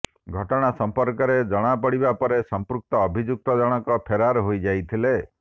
ଘଟଣା ସମ୍ପର୍କରେ ଜଣାପଡିବା ପରେ ସମ୍ପୃକ୍ତ ଅଭିଯୁକ୍ତ ଜଣକ ଫେରାର ହୋଇଯାଇଥିଲା